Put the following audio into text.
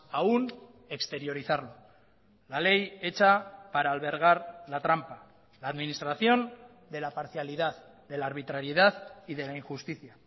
aún exteriorizarlo la ley hecha para albergar la trampa la administración de la parcialidad de la arbitrariedad y de la injusticia